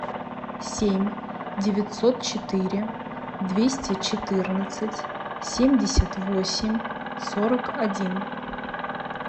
семь девятьсот четыре двести четырнадцать семьдесят восемь сорок один